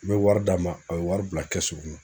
N bɛ wari d'a ma a bɛ wari bila kɔnɔ.